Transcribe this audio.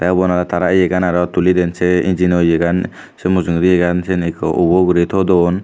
te uban aro tara yegan aro tulidyen se engino yegan se mujungedi yegan siyen ekko uboguri todon.